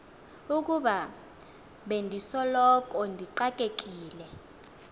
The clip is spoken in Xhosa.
ukuba bendisoloko ndixakekile